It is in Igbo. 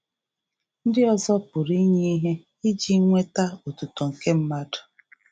Ndị ọzọ pụrụ inye ihe iji nweta otuto nke mmadụ.